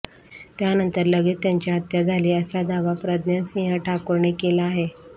त्यानंतर लगेच त्यांची हत्या झाली असा दावा प्रज्ञासिंह ठाकूरने केला आहे